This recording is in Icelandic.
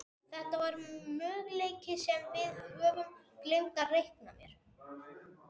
Þetta var möguleiki sem við höfðum gleymt að reikna með.